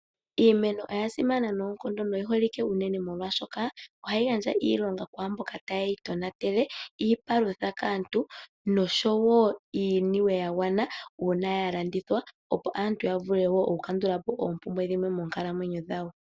Iimeno oyasimana noonkondo na oyi holike unene molwashoka ohayi gandja iilonga kwaamboka ta ye yi tonatele, iipalutha kaantu, noshowo iiniwe yagwana uuna ya landithwa opo aantu ya vule wo oku kandulapo oompumbwe dhimwe monkalamwenyo dhawo.